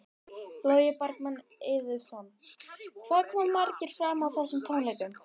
Logi Bergmann Eiðsson: Hvað koma margir fram á þessum tónleikum?